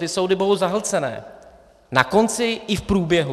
Ty soudy budou zahlcené, na konci i v průběhu.